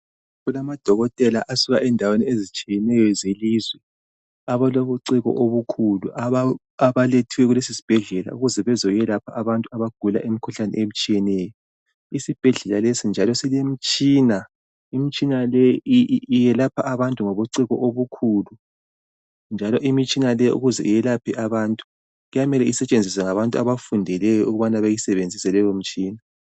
Kulamadokotela asuka endaweni azitshiyeneyo zelizwe. Abalobuciko obukhulu. Abalethiweyo kulesisibhedlela , ukuze bazoyekwelapha abantu abagula imikhuhlane etshiyeneyo. lsibhedlela lesi njalo silemitshina. lmitshina le iyelapha abantu ngobuciko obukhulu, njalo imitshina le ukuze iyelaphe abantu, kuy4amela isetshenziswe ngabantu abakufundeleyo, okumele bayisebenzise leyomitshina.